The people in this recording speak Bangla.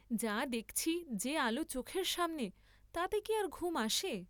যা দেখছি যে আলো চোখের সামনে, তাতে কি আর ঘুম আসে!